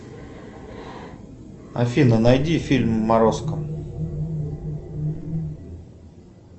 афина найди фильм морозко